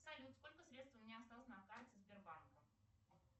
салют сколько средств у меня осталось на карте сбербанка